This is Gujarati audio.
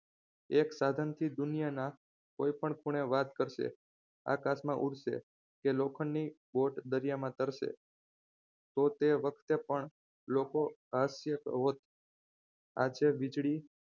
એક સાધનથી દુનિયાના કોઈ પણ ખૂણે વાત કરશે આકાશમાં ઉડશે કે લોખંડની boat દરિયામાં તરસે તો તે વખતે પણ હાસ્ય પ્રવત આજે વીજળી